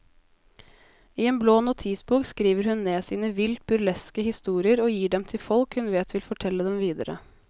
I en blå notisbok skriver hun ned sine vilt burleske historier og gir dem til folk hun vet vil fortelle dem videre.